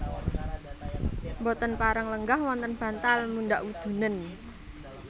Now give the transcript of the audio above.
Boten pareng lenggah wonten bantal mundhak wudunen